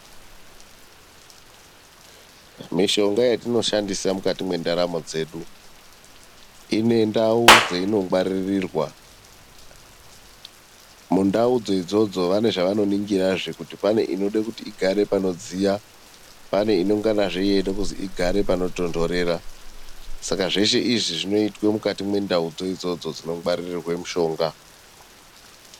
Mishonga yatinoshandisa mukati mwendaramo dzedu, inendau dzeinongwaririrwa. Mundau idzodzo vane zvavanoningira kuti paneinoda kuti igare panodziya. Pane inonga yeida kunzi igare panotontorera, saka zveshe izvi zvinoitwa mukati mendau idzodzo dzinongwaririrwa mishonga.